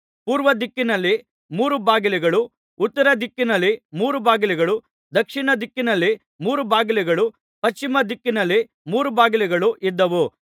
ಪೂರ್ವ ದಿಕ್ಕಿನಲ್ಲಿ ಮೂರು ಬಾಗಿಲುಗಳು ಉತ್ತರ ದಿಕ್ಕಿನಲ್ಲಿ ಮೂರು ಬಾಗಿಲುಗಳು ದಕ್ಷಿಣ ದಿಕ್ಕಿನಲ್ಲಿ ಮೂರು ಬಾಗಿಲುಗಳು ಪಶ್ಚಿಮ ದಿಕ್ಕಿನಲ್ಲಿ ಮೂರು ಬಾಗಿಲುಗಳು ಇದ್ದವು